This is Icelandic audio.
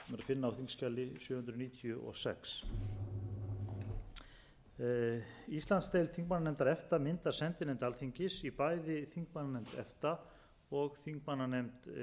sjö hundruð níutíu og sex íslandsdeild þingmannanefnd efta myndar sendinefnd alþingis í bæði þingmannanefnd efta og þingmannanefnd e e s evrópska efnahagssvæðisins